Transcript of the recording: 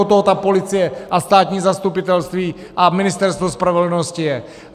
Od toho ta policie a státní zastupitelství a Ministerstvo spravedlnosti je.